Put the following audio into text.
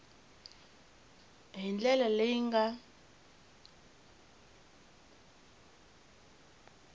hi ndlela leyi yi nga